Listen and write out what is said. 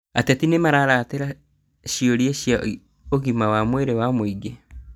Ateti nĩmararatera ciũria cia ũgima wa mwĩrĩ wa mũingĩ